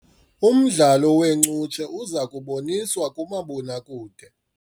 Umdlalo weencutshe uza kuboniswa kumabonakude.